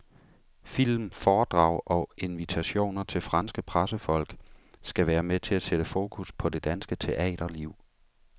Film, foredrag og invitationer til franske pressefolk skal være med til at sætte fokus på det danske teaterliv.